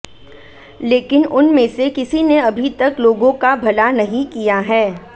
लेकिन उनमें से किसी ने अभी तक लोगों का भला नहीं किया है